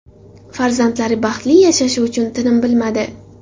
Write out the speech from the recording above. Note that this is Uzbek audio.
Farzandlari baxtli yashashi uchun tinim bilmadi.